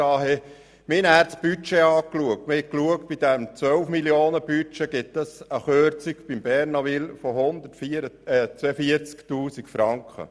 Bei einem Budget in der Höhe von 12 Mio. Franken ergibt sich eine Kürzung in der Höhe von 142 000 Franken.